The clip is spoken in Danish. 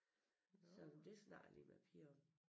Så men det snakker jeg lige med æ piger om